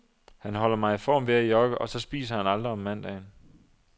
Han holder mig i form ved at jogge,, og så spiser aldrig om mandagen.